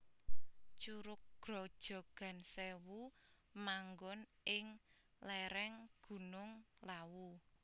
Curug Grojogan Sèwu manggon ing lèrèng Gunung Lawu